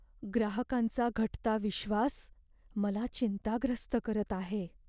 ग्राहकांचा घटता विश्वास मला चिंताग्रस्त करत आहे.